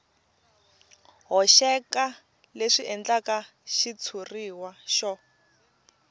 hoxeka leswi endlaka xitshuriwa xo